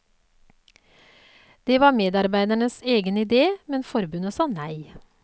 Det var medarbeidernes egen idé, men forbundet sa nei.